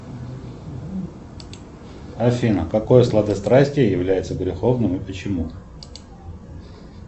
афина какое сладострастие является греховным и почему